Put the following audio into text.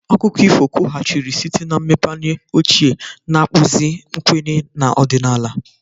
Akụkọ ifo kwughachiri site na mmepeanya ochie, na-akpụzi nkwenye na ọdịnala.